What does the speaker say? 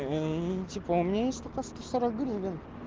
эй типа у меня есть только сто сорок гривен